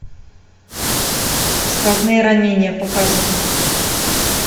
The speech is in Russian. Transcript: сквозные ранения показывай